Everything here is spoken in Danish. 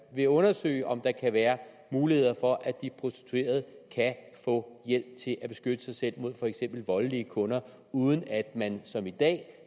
vil undersøge om der kan være muligheder for at de prostituerede kan få hjælp til at beskytte sig selv mod for eksempel voldelige kunder uden at man som i dag